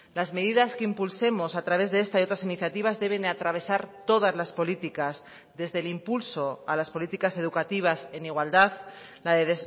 las medidas que impulsemos a través de esta y otras iniciativas deben atravesar todas las políticas desde el impulso a las políticas educativas en igualdad la de